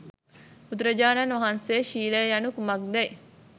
බුදුරජාණන් වහන්සේ ශීලය යනු කුමක්දැ යි